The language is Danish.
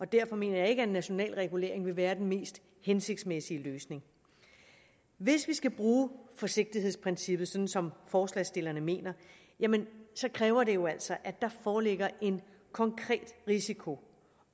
derfor mener jeg ikke at en national regulering vil være den mest hensigtsmæssige løsning hvis vi skal bruge forsigtighedsprincippet som som forslagsstillerne mener så kræver det jo altså at der foreligger en konkret risiko